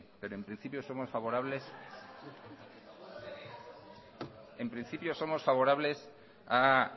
pero en principio somos favorables a